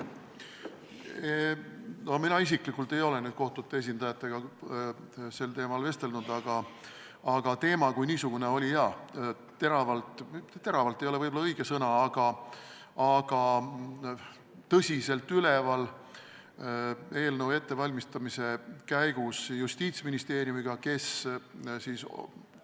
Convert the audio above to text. Mina isiklikult ei ole kohtute esindajatega sel teemal vestelnud, aga teema kui niisugune oli teravalt üleval – "teravalt" ei ole võib-olla õige sõna, õigemini tõsiselt üleval – kui eelnõu koos Justiitsministeeriumiga ette valmistati.